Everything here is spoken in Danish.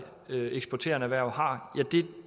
eksporterende erhverv har at det